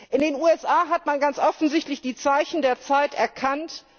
In den USA hat man ganz offensichtlich die Zeichen der Zeit erkannt.